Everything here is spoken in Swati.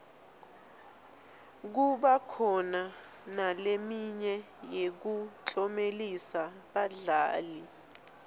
kuba khona naleminye yekuklomelisa badlali